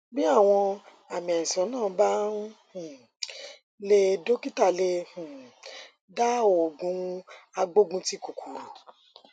bí àwọn àmì àìsàn náà bá um le dọkítà lè um dá òògùn agbógunti kòkòrò